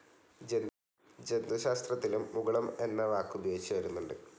ജന്തുശാസ്ത്രത്തിലും മുകുളം എന്ന വാക്കുപയോഗിച്ചുവരുന്നുണ്ട്.